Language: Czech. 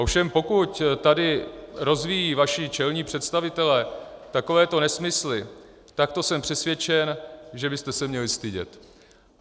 Ovšem pokud tady rozvíjejí vaši čelní představitelé takovéto nesmysly, tak to jsem přesvědčen, že byste se měli stydět.